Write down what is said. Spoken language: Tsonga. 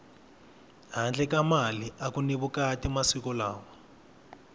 handle ka mali aku ni vukati masiku lawa